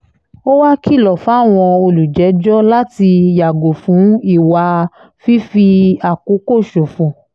ó wàá kìlọ̀ fáwọn olùjẹ́jọ́ láti yàgò fún ìwà fífàkókò ṣòfò